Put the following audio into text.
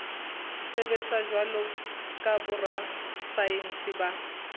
sebetsa jwalo ka borasaense ba